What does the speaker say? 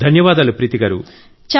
ధన్యవాదాలు ప్రీతి గారూ